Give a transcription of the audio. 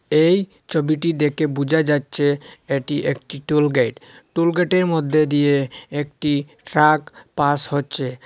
এই ছবিটি দেখে বুঝা যাচ্ছে এটি একটি টোল গেট টোল গেটের মধ্যে দিয়ে একটি ট্রাক পাস হচ্ছে।